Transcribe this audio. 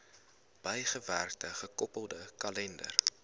bygewerkte gekoppelde kalender